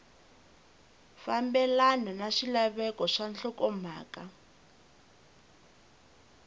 fambelana na swilaveko swa nhlokomhaka